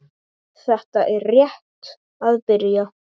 Þetta er rétt að byrja.